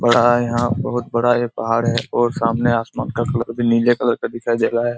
बड़ा यहाँ बहुत बड़ा ये पहाड़ है और सामने आसमान का कलर भी नीले कलर का दिखाई दे रहा है।